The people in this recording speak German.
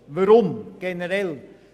Weshalb dies?